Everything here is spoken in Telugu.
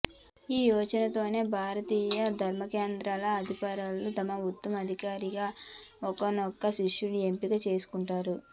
ఈ యోచనతోనే భారతీయ ధర్మకేంద్రాల అధిపతులు తమ ఉత్తరాధికారిగా ఒకానొక శిష్యుణ్ణి ఎంపిక చేసుకుంటారు